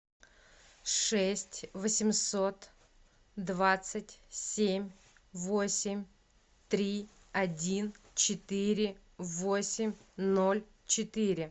шесть восемьсот двадцать семь восемь три один четыре восемь ноль четыре